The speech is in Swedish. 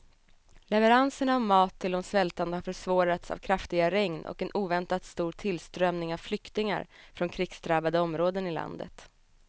Leveranserna av mat till de svältande har försvårats av kraftiga regn och en oväntat stor tillströmning av flyktingar från krigsdrabbade områden i landet.